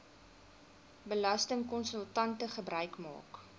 belastingkonsultante gebruik maak